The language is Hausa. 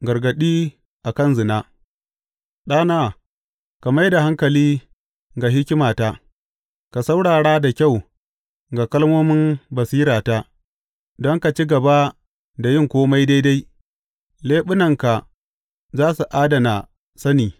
Gargaɗi a kan zina Ɗana, ka mai da hankali ga hikimata ka saurara da kyau ga kalmomin basirata, don ka ci gaba da yin kome daidai leɓunanka za su adana sani.